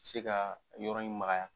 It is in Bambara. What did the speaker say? Se ka yɔrɔ in magaya.